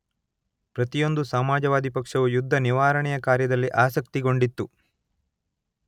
ಪ್ರತಿಯೊಂದು ಸಮಾಜವಾದಿ ಪಕ್ಷವೂ ಯುದ್ಧನಿವಾರಣೆಯ ಕಾರ್ಯದಲ್ಲಿ ಆಸಕ್ತಿಗೊಂಡಿತು